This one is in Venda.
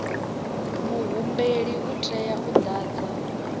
muhumbeli u tea u ḓadza